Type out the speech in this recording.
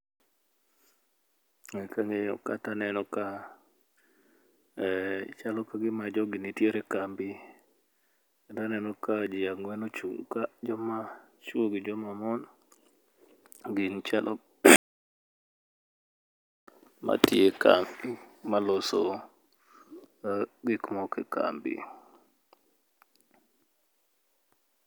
Kang'iyo ka taneno ka, chalo kagima jogi nitiere e kambi kendo aneno ka jii ang'wen ochung' ka joma chwo gi joma mon matiye kambi maloso gik moko e kambi